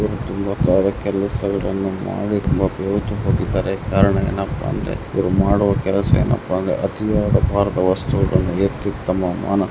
ಅವರು ಮಾಡುವ ಕೆಲಸವೆಂದರೆ ಜೀವನದಲ್ಲಿ ಬೆವರಿಸುವುದು ಅವರು ಇಬ್ಬರೂ ಸಹ ತುಂಬಾ ಬೆವರಿನಿಂದ ಕೂಡಿರುತ್ತಾರೆ ಯಾಕೆಂದರೆ ಪ್ರತಿದಿನ ಶ್ರಮಿಸುತ್ತಾರೆ